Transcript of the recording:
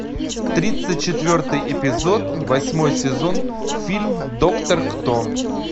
тридцать четвертый эпизод восьмой сезон фильм доктор кто